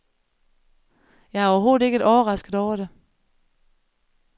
Jeg er overhovedet ikke overrasket over det.